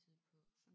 Tæt på